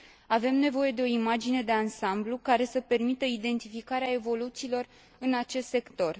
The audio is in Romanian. Avem nevoie de o imagine de ansamblu, care să permită identificarea evoluțiilor în acest sector